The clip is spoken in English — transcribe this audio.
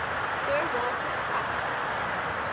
sir walter scott